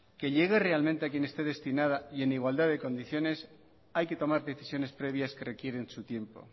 que llegue realmente a quien esté destinada y en igualdad de condiciones hay que tomar decisiones previas que requieren su tiempo